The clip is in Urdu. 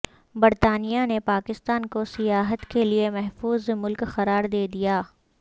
برطانیہ نے پاکستان کو سیاحت کے لیے محفوظ ملک قرار دے دیا